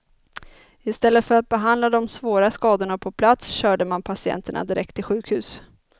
Istället för att behandla de svåra skadorna på plats körde man patienterna direkt till sjukhus.